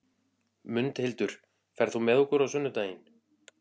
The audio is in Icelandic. Mundhildur, ferð þú með okkur á sunnudaginn?